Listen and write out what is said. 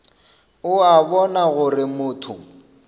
o a bona gore motho